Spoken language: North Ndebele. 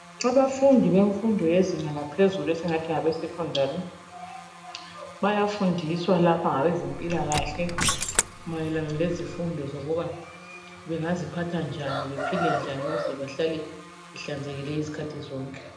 Abafundi befundo yezinga laphezulu esingathi ngabeSecondary bayafundiswa lapha ngabezempilakahle mayelana lezifundo zokuthi bengaziphatha njani ukuze behlale behlanzekile izikhathi zonke.